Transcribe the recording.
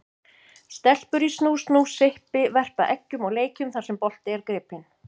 Stelpur í snú-snú, sippi, verpa eggjum og leikjum þar sem bolti er gripinn.